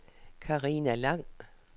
Carina Lang